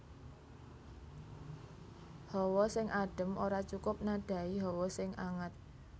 Hawa sing adem ora cukup nadhahi hawa sing anget